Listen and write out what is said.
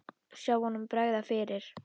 Sjá honum bregða fyrir!